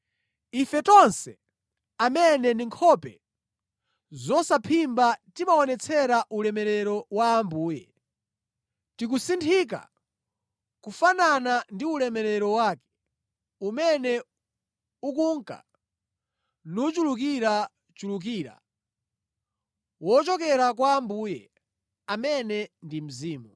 Ife tonse, amene ndi nkhope zosaphimba timaonetsera ulemerero wa Ambuye, tikusinthika kufanana ndi ulemerero wake, umene ukunka nuchulukirachulukira, wochokera kwa Ambuye, amene ndi Mzimu.